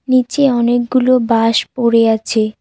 নীচে অনেকগুলো বাঁশ পড়ে আছে।